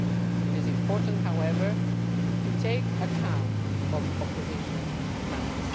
It is important, however, to take account of opposition demands.